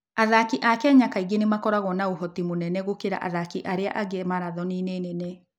Athaki a Kenya kaingĩ nĩ makoragwo na ũhoti mũnene gũkĩra athaki arĩa angĩ marathoni-inĩ nene.